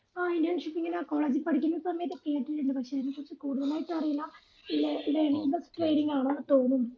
ആ internship ഇങ്ങന college ൽ പഠിക്കുന്ന സമയത്തു കേട്ടിട്ടുണ്ട് പക്ഷെ അതിനെപറ്റി കൂടുതലായിട്ട് അറിയില്ല ഏർ learning plus training ആണന്ന് തോന്നുന്നു